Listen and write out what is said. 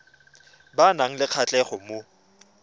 ba nang le kgatlhego mo